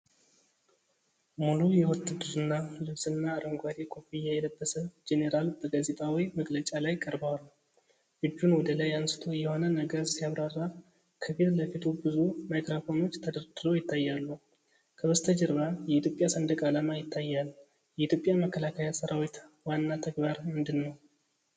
ሙሉ የውትድርና ልብስና አረንጓዴ ኮፍያ የለበሰ ጄኔራል በጋዜጣዊ መግለጫ ላይ ቀርበዋል። እጁን ወደ ላይ አንስቶ የሆነ ነገር ሲያብራራ፣ ከፊት ለፊቱ ብዙ ማይክሮፎኖች ተደርድረው ይታያሉ። ከበስተጀርባ የኢትዮጵያ ሰንደቅ ዓላማ ይታያል። የኢትዮጵያ መከላከያ ሠራዊት ዋና ተግባር ምንድን ነው?